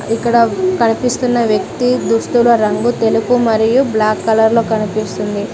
ఇక్కడ కనిపిస్తున్న వ్యక్తి దుస్తుల రంగు తెలుపు మరియు బ్లాక్ కలర్ లో కనిపిస్తుంది.